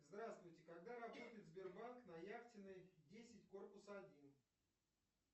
здравствуйте когда работает сбербанк на яхтенной десять корпус один